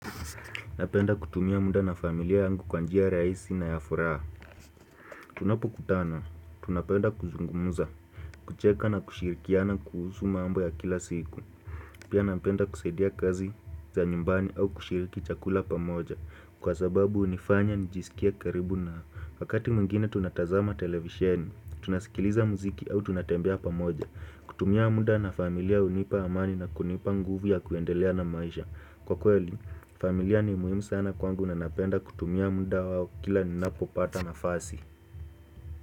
Napenda kutumia muda na familia yangu kwanjia rahisi na ya furaha. Tunapokutana, tunapenda kuzungumuza, kucheka na kushirikiana kuhusu mambo ya kila siku. Pia napenda kusaidia kazi za nyumbani au kushiriki chakula pamoja. Kwa sababu hunifanya nijisikia karibu nao. Wakati mwingine tunatazama televisheni, tunasikiliza muziki au tunatembea pamoja. Kutumia muda na familia hunipa amani na kunipa nguvu ya kuendelea na maisha. Kwa kweli, familia ni muhimu sana kwangu na napenda kutumia muda wao kila nina popata nafasi.